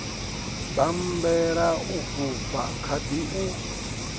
bammbela u fhufha khadi u